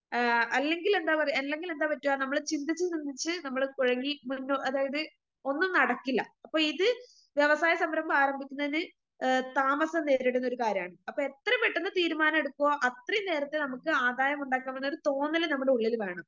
ആ അല്ലെങ്കിലെന്താ പറയാ അല്ലെങ്കിലെന്താ പറ്റാ നമ്മള് ചിന്തിച്ച് ചിന്തിച്ച് നമ്മള് കുഴങ്ങി മറിഞ്ഞു അതായത് ഒന്നും നടക്കില്ല അപ്പൊ ഇത് വ്യവസായസംരംഭം ആരംഭിക്കുന്നതിന് ഏ താമസം നേരിടുന്നൊരുകാര്യമാണ് അപ്പൊ എത്ര പെട്ടെന്ന് തീരുമാനം എടുക്കുവ അത്രയും നേരത്തെ നമുക്ക് ആദായമുണ്ടാക്കാവുന്ന ഒരു തോന്നല് നമ്മടെ ഉള്ളില് വേണം.